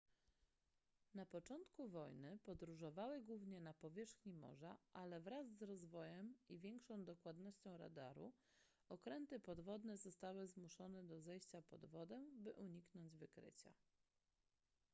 na początku wojny podróżowały głównie na powierzchni morza ale wraz z rozwojem i większą dokładnością radaru okręty podwodne zostały zmuszone do zejścia pod wodę by uniknąć wykrycia